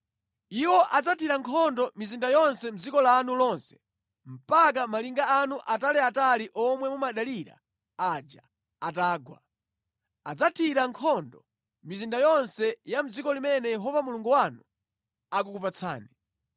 Iwo adzathira nkhondo mizinda yonse mʼdziko lanu lonse mpaka malinga anu ataliatali omwe mumadalira aja atagwa. Adzathira nkhondo mizinda yonse ya mʼdziko limene Yehova Mulungu wanu akukupatsani.